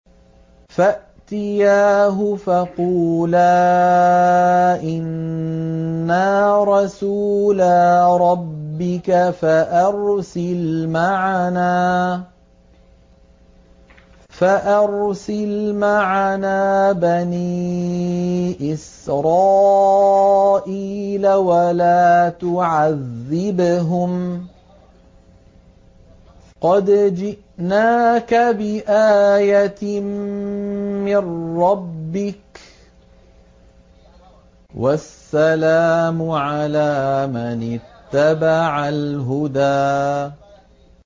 فَأْتِيَاهُ فَقُولَا إِنَّا رَسُولَا رَبِّكَ فَأَرْسِلْ مَعَنَا بَنِي إِسْرَائِيلَ وَلَا تُعَذِّبْهُمْ ۖ قَدْ جِئْنَاكَ بِآيَةٍ مِّن رَّبِّكَ ۖ وَالسَّلَامُ عَلَىٰ مَنِ اتَّبَعَ الْهُدَىٰ